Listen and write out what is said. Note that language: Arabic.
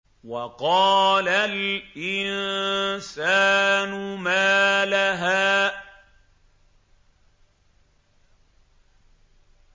وَقَالَ الْإِنسَانُ مَا لَهَا